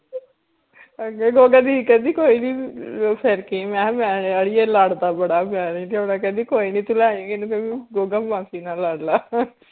ਅੱਛਾ ਗੋਗਾ ਦੀ ਕਹਿੰਦੀ ਕੋਇਨੀ ਫੇਰ ਕੀ ਮੈ ਹਾ ਮੈ ਨੀ ਲਿਆਰੀ ਇਹ ਲੜਦਾ ਬੜਾ ਮੈ ਨੀ ਲਿਆਉਣਾ ਕਹਿੰਦੀ ਕੋਇਨੀ ਤੂੰ ਲੈ ਆਈ ਇਹਨੂੰ ਕਹੀਂ ਗੋਗਾ ਮਾਸੀ ਨਾਲ ਲੜਲਾ